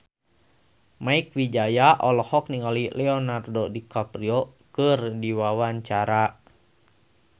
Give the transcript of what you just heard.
Mieke Wijaya olohok ningali Leonardo DiCaprio keur diwawancara